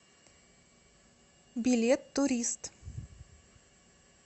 билет турист